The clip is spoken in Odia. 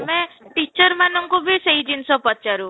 ମେ teacher ମାନଙ୍କୁ ବି ସେଇ ଜିନିଷ ପଚାରୁ